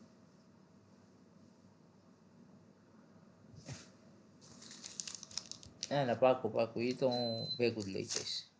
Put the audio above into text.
હે ને પાક્કું પાક્કું ઈ તો હું ભેગું જ લઇ જાઈશ